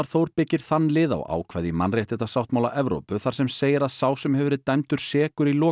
Þór byggir þann lið á ákvæði í mannréttindasáttmála Evrópu þar sem segir að sá sem hefur verið dæmdur sekur í